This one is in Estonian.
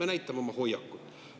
Me näitame oma hoiakut.